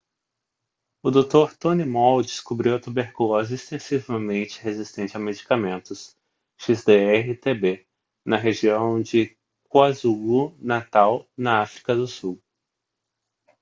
o dr. tony moll descobriu a tuberculose extensivamente resistente a medicamentos xdr-tb na região de kwazulu-natal na áfrica do sul